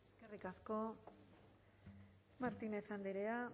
eskerrik asko martínez andrea